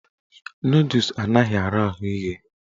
Nọdụs anaghị ara ahụ ighe.